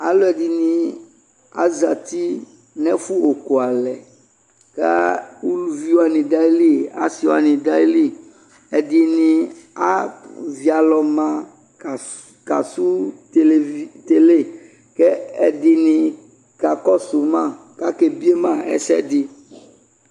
Alɛde ne azati no ɛfo okualɛ ka uluvi wane da ayili, ase eane da ayili, Ɛdene avi alɔ ma kas, kasu televi, tele, kɛ ɛdene kakɔso ma kake bie ma asɛde